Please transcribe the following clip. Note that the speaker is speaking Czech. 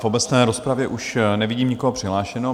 V obecné rozpravě už nevidím nikoho přihlášeného.